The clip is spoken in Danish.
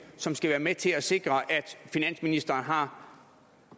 som skal være med til at sikre at finansministeren har